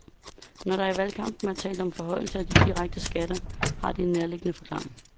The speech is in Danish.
Når der ikke i valgkampen er talt om forhøjelse af de direkte skatter, har det en nærliggende forklaring.